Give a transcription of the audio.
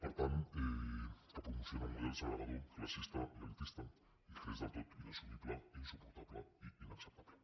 per tant que promociona un model segregador classista i elitista i que és del tot inassumible i insuportable i inacceptable